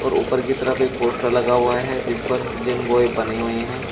और ऊपर की तरफ एक पोस्टर भी लगा हुआ है जिस पर जिम बॉय बने हुए हैं।